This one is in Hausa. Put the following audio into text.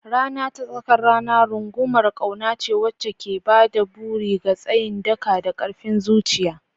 Rana ta tsakar rana rungumar ƙauna ce wacce ke ba da buri ga tsayin daka da ƙarfin zuciya.